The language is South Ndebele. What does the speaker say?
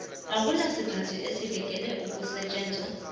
akunasikhathi esibekelwe ukusetjenzwa